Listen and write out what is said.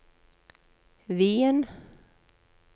Wien